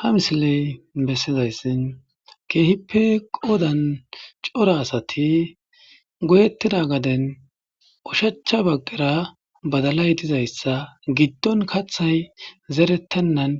Ha misilee bessizayssi keehippe qoodan cora asathi goyeththira gaden oshachcha baggara badalay dizayssa giddon kaththay zereththennan